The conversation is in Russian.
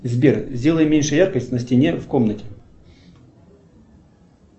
сбер сделай меньше яркость на стене в комнате